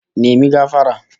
Apologise!